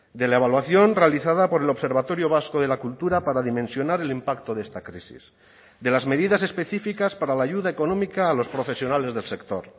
de la evaluación realizada por el observatorio vasco de la cultura para dimensionar el impacto de esta crisis de las medidas específicas para la ayuda económica a los profesionales del sector